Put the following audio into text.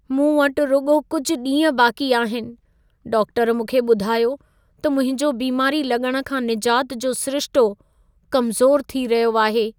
मूं वटि रुॻो कुझि ॾींह बाक़ी आहिन। डाक्टर मूंखे ॿुधायो त मुंहिंजो बीमारी लॻण खां निजात जो सिरिशितो कमज़ोर थी रहियो आहे।